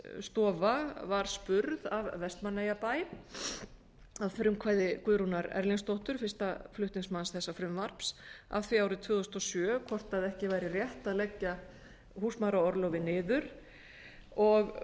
jafnréttisstofa var spurð af vestmannabæ að frumkvæði guðrúnar erlingsdóttur fyrsta flutningsmanns þessa frumvarps að því árið tvö þúsund og sjö hvort ekki væri rétt að leggja húsmæðraorlofið niður og